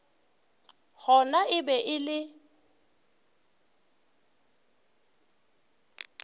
gona e be e le